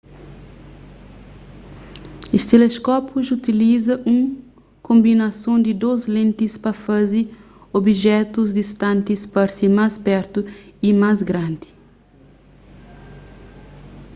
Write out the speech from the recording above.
es teleskópius utiliza un konbinason di dôs lentis pa faze obijetus distantis parse más pertu y más grandi